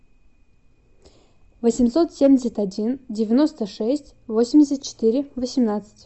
восемьсот семьдесят один девяносто шесть восемьдесят четыре восемнадцать